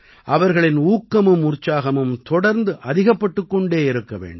அவர்களின் ஊக்கமும் உற்சாகமும் தொடர்ந்து அதிகப்பட்டுக் கொண்டே இருக்க வேண்டும்